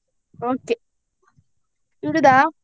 Okay ಇಡುದಾ?